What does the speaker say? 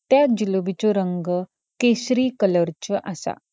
त्य जुलोबिच्यो रंग केशरि कलरच्यो आसा.